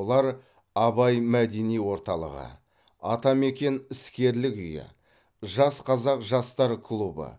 олар абай мәдени орталығы атамекен іскерлік үйі жас қазақ жастар клубы